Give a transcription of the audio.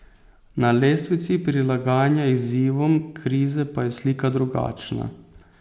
Na lestvici prilagajanja izzivom krize pa je slika drugačna.